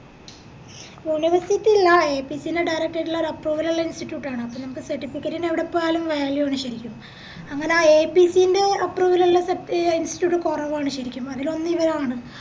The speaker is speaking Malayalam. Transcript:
university ഇല്ല AAPC ൻറെ direct ആയിട്ടുള്ള ഒര് approval ഉള്ള institute ആണ് അപ്പൊ നമുക് certificate ന് എവിടെപ്പോയാലും value ആണ് ശെരിക്കും അങ്ങനെ ആ AAPC ൻറെ approval ഉള്ള എ institute കൊറവാണ് ശെരിക്കും അതിലൊന്ന് ഇവരാണ്